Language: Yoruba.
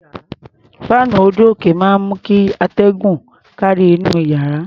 Fáànù orí-òkè máa ń mú kí atẹ́gùn kárí inú iyàrá.